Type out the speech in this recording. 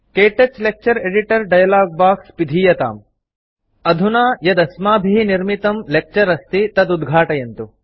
क्तौच lecture editor dialog box पिधीयताम् अधुना यदस्माभिः निर्मितं लेक्चर अस्ति तदुद्घाटयन्तु